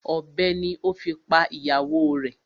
Ọ̀bẹ ni o fi pa ìyàwó rẹ̀.